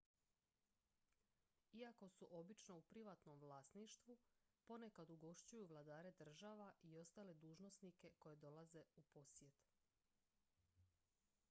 iako su obično u privatnom vlasništvu ponekad ugošćuju vladare država i ostale dužnosnike koji dolaze u posjet